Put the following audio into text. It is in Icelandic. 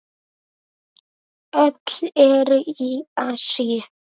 Öll eru í Asíu.